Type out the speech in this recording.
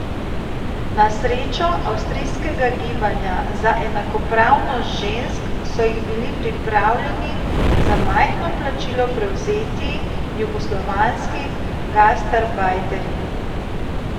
Na srečo avstrijskega gibanja za enakopravnost žensk so jih bili pripravljeni za majhno plačilo prevzeti jugoslovanski gastarbajterji.